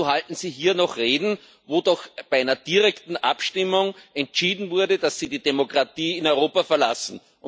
Wieso halten Sie hier noch Reden, wo doch bei einer direkten Abstimmung entschieden wurde, dass Sie die Demokratie in Europa verlassen?